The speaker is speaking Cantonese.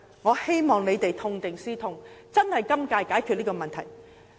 我希望局長會痛定思痛，在今屆解決問題。